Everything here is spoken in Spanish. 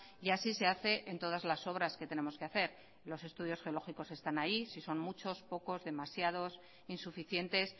y así se hace en todas las obras que tenemos que hacer los estudios geológicos están ahí si son muchos pocos demasiados insuficientes